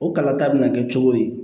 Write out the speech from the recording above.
O kalata bɛna kɛ cogo di